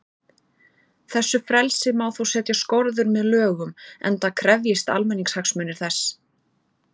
Þessu frelsi má þó setja skorður með lögum, enda krefjist almannahagsmunir þess.